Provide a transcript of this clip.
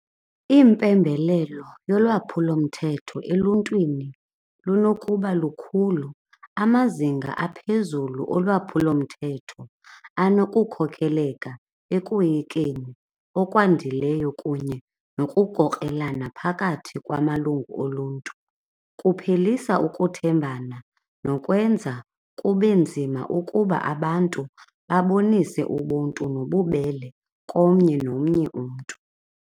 Iimpembelelo lolwaphulomthetho eluntwini lunokuba lukhulu. Amazinga aphezulu olwaphulomthetho anokukhokeleka ekoyikeni okwandileyo kunye nokukrokrelana phakathi kwamalungu oluntu. Kuphelisa ukuthembana nokwenza kube nzima ukuba abantu babonise ubuntu nobubele komnye nomnye umntu.